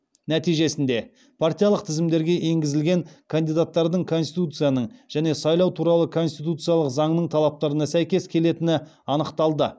нәтижесінде партиялық тізімдерге енгізілген кандидаттардың конституцияның және сайлау туралы конституциялық заңның талаптарына сәйкес келетіні анықталды